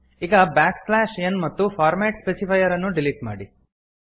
ಈಗ backslash n ಮತ್ತು format specifier ಅನ್ನು ಡಿಲೀಟ್ ಮಾಡಿ